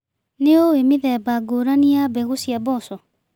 Nĩũĩ mĩthemba ngũrani ya mbegũ cia mboco.